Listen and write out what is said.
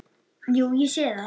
Jú, ég sé það.